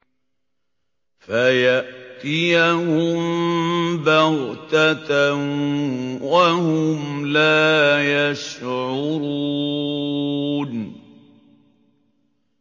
فَيَأْتِيَهُم بَغْتَةً وَهُمْ لَا يَشْعُرُونَ